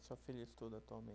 A sua filha estuda